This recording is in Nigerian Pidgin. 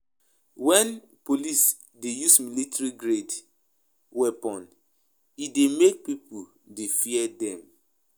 When police dey use military grade weapons e dey make pipo dey fear dem